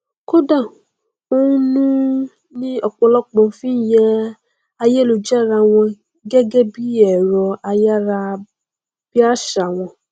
kódà ònu ni ọpọlọpọ fi ń yẹ ayélujára wò gẹgẹ bí ẹrọ ayárabíàṣá wọn